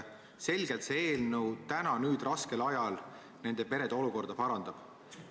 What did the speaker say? Praegusel raskel ajal see selgelt nende perede olukorda parandaks.